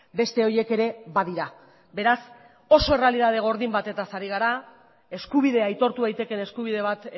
beste horiek ere badira beraz oso errealitate gordin batetaz ari gara eskubidea aitortu daitekeen eskubide bat